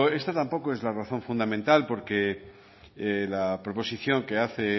esta tampoco es la razón fundamental porque la proposición que hace el